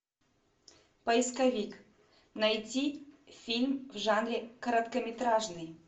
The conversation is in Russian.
поисковик найти фильм в жанре короткометражный